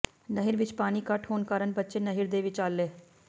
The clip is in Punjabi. ਨਹਿਰ ਵਿਚ ਪਾਣੀ ਘੱਟ ਹੋਣ ਕਾਰਨ ਬੱਚੇ ਨਹਿਰ ਦੇ ਵਿਚਾਲੇ